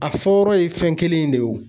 A fɔyɔrɔ ye fɛn kelen in de ye wo